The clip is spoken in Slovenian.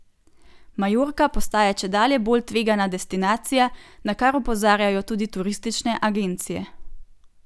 Majorka postaja čedalje bolj tvegana destinacija, na kar opozarjajo tudi turistične agencije.